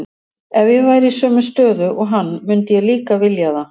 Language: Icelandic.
Ef ég væri í sömu stöðu og hann myndi ég líka vilja það.